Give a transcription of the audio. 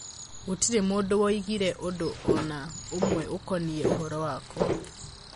gũtirĩ mũndũ woigire ũndũ o na ũmwe ũkoniĩ ũhoro wakwa